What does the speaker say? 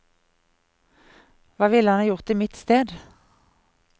Hva ville han gjort i mitt sted?